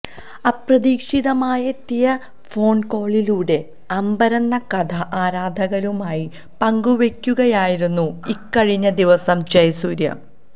അപ്രതീക്ഷിതമായെത്തിയ phone കോളിലൂടെ അമ്പരന്ന കഥ ആരാധകരുമായി പങ്കുവയ്ക്കുകയായിരുന്നു ഇക്കഴിഞ്ഞ ദിവസം ജയസൂര്യ